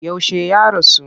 Yaushe ya rasu?